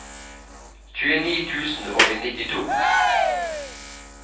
tjueni tusen og nittito